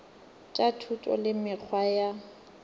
tša thuto le mekgwa ya